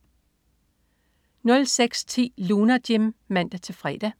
06.10 Lunar Jim (man-fre)